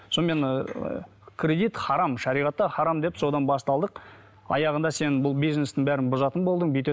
сонымен ыыы кредит харам шариғатта харам деп содан басталдық аяғында сен бұл бизнестің бәрін бұзатын болдың